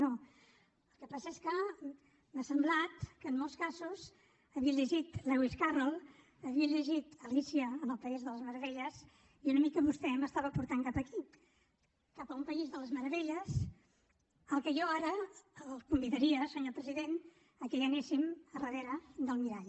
no el que passa és que m’ha semblat que en molts casos havia llegit lewis carroll havia llegit alícia en el país de les meravelles i una mica vostè m’estava portant cap aquí cap a un país de les meravelles al qual jo ara el convidaria senyor president que anéssim darrere del mirall